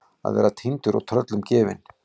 Að vera týndur og tröllum gefin